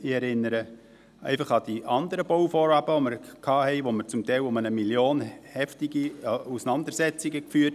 Ich erinnere einfach an die anderen Bauvorhaben, die wir hatten und bei denen wir hier zum Teil heftige Auseinandersetzungen um 1 Mio. Franken führten.